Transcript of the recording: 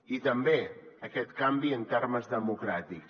i també aquest canvi en termes democràtics